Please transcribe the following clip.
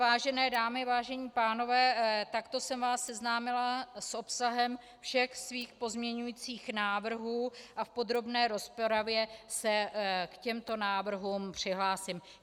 Vážené dámy, vážení pánové, takto jsem vás seznámila s obsahem všech svých pozměňujících návrhů a v podrobné rozpravě se k těmto návrhům přihlásím.